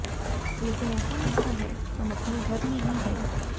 लेकिन ऐसा लगता है हम अपने घर में ही हैं